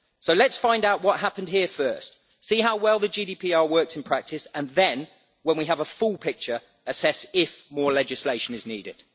So let's find out what happened here first and see how well the GDPR worked in practice and then, when we have a full picture, assess if more legislation is needed.